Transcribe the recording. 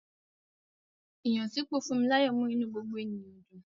Ìyànsípò Funmilayo mú inú gbogbo ènìyàn dùn.